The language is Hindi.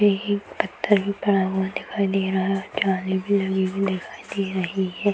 एक पत्थर भी पड़ा हुआ दिखाई दे रहा है जाली भी लगी हुई दिखाई दे रही है।